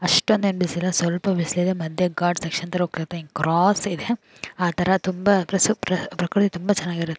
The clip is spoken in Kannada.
ಅಷ್ಟೊಂದ್ ಏನ್ ಬಿಸ್ಲಿಲ್ಲ ಸ್ವಲ್ಪ ಬಿಸ್ಲಿದೆ ಮದ್ಯೆ ಘಾಟ್ ಸೆಕ್ಷನ್ ತರ ಹೋಗ್ತತೈತಿ ಹಿಂಗ್ ಕ್ರಾಸ್ ಇದೆ ಅಥರ ತುಂಬಾ ಪ್ರಸುಪ್-ಪ್ರ-ಪ್ರಕೃತಿ ತುಂಬಾ ಚನಾಗಿರುತ್